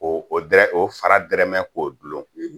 O tɛ o fara tɛrɛmɛ k'o dulon..